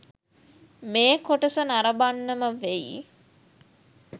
මේ කොටස නරඹන්නම වෙයි.